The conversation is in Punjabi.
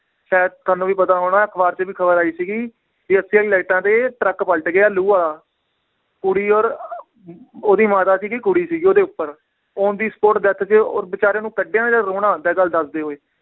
ਸ਼ਾਇਦ ਤੁਹਾਨੂੰ ਵੀ ਪਤਾ ਹੋਣਾ ਹੈ, ਅਖਬਾਰ ਚ ਵੀ ਖਬਰ ਆਈ ਸੀਗੀ ਵੀ ਲਾਈਟਾਂ ਤੇ ਟਰੱਕ ਪਲਟ ਗਿਆ ਲੂ ਵਾਲਾ ਕੁੜੀ ਔਰ ਓਹਦੀ ਮਾਤਾ ਸੀਗੀ ਕੁੜੀ ਸੀਗੀ ਓਹਦੇ ਉਪਰ on the spot death ਤੇ ਔਰ ਬੇਚਾਰਿਆਂ ਕੱਢਿਆ ਨਾ ਜਦ ਰੋਣਾ ਆਉਂਦਾ ਹੈ ਗੱਲ ਦੱਸਦੇ ਹੋਏ।